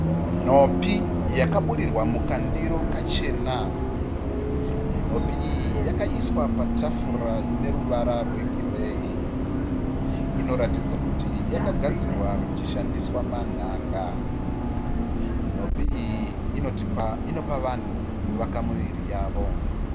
Nhopi yakaburirwa mukandiro kachena. Nhopi iyi yakaiswa patafura ineruva rwegireyi. Inoratidza kuti yakagadzirwa kuchishandiswa manhanga. Nhopi iyi inopa vanhu kuvaka miviri yavo.